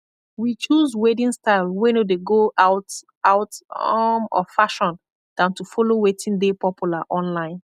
wi choose wedding style wey nor dey go out out um of fashion dan to follow wetin dey popular online